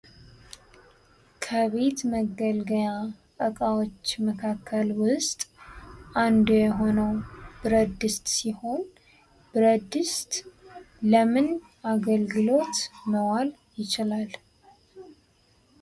ከቤት መገልገያ እቃዎች መካከል ውስጥ አንዱ የሆነው ብረት ድስት ሲሆን ብረት ድስት ለምን አገልግሎት መዋል ይችላል?